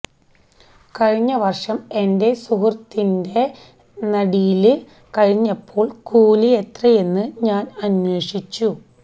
കഴിഞ്ഞ വര്ഷം എന്െറ സുഹൃത്തിന്െറ നടീല് കഴിഞ്ഞപ്പോള് കൂലി എത്രയാണെന്നു ഞാന് അന്വേഷിച്ചു